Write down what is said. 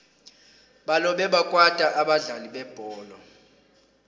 balobe bakwata abadlali bebholo